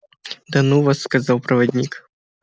да ну вас сказал проводник